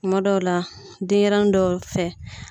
Kuma dɔw la denɲɛrɛnin dɔw fɛ.